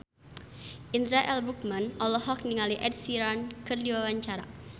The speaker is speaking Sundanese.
Indra L. Bruggman olohok ningali Ed Sheeran keur diwawancara